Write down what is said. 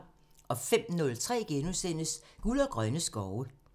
05:03: Guld og grønne skove *(tir)